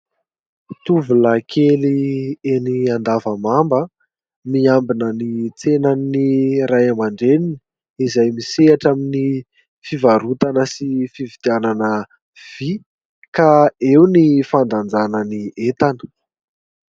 Tovolahy kely eny Andavamamba miambina ny tsenan'ny Ray aman-dreniny izay misehatra amin'ny fivarotana sy fividianana vy ka eo ny fandanjana ny entana.